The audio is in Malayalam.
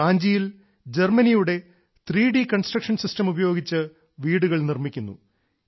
റാഞ്ചിയിൽ ജർമനിയുടെ ത്രി ഡി കൺസ്ട്രക്ഷൻ സിസ്റ്റം ഉപയോഗിച്ച് വീടുകൾ നിർമ്മിക്കുന്നു